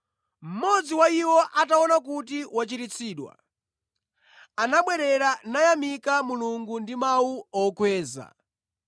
Mmodzi wa iwo, ataona kuti wachiritsidwa, anabwerera, nayamika Mulungu ndi mawu okweza.